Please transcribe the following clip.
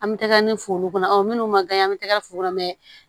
An bɛ tɛgɛ min fo olu kɔnɔ ɔ minnu man kan bɛ tɛgɛ fu kɔnɔ mɛ